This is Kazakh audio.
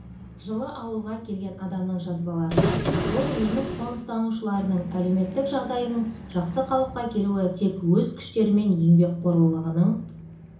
жылы ауылға келген адамның жазбаларынан бұл неміс қоныстанушыларының әлеуметтік жағдайының жақсы қалыпқа келуі тек өз күштері мен еңбекқорлығының